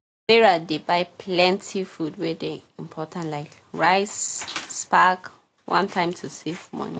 sarah dey buy plenty food wey dey important like rice spag one time to save moni